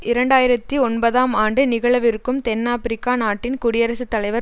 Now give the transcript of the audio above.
இரண்டாயிரத்தி ஒன்பதாம் ஆண்டு நிகழவிருக்கும் தென் ஆபிரிக்க நாட்டின் குடியரசு தலைவர்